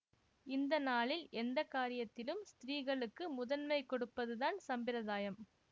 இந்த நாளில் எந்த காரியத்திலும் ஸ்திரீகளுக்கு முதன்மை கொடுப்பதுதான் சம்பிரதாயம்